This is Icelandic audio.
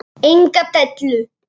Enga dellu!